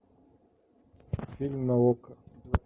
фильм на окко